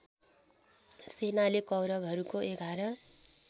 सेनाले कौरवहरूको ११